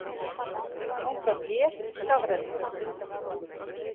Áfram él og skafrenningur